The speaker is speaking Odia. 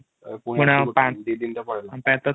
ପୁଣି ଦି ଦିନ ତ ପଳେଇବ |